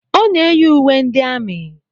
Ọ na-eyi uwe ndị amị.